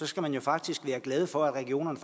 skal faktisk være glad for at regionerne